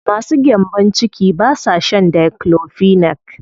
Masu gyambo ciki ba sa shan diclofenac.